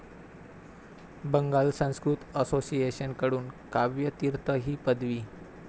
Bengal Sanskrit association कडून काव्य तीर्थ ही पदवी